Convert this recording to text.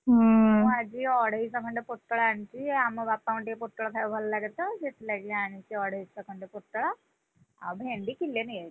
ମୁଁ ଆଜି ଅଢେଇଶ ଖଣ୍ଡେ ପୋଟଳ ଆଣିଚି, ଆମ ବାପାଙ୍କୁ ଟିକେ ପୋଟଳ ଖାୟାକୁ ଭଲ ଲାଗେ ତ ସେଥିଲାଗି ଆଣିଚି ଅଢେଇଶ ଖଣ୍ଡେ ପୋଟଳ, ଆଉ ଭେଣ୍ଡି କିଲେ ନେଇଆସିଛି।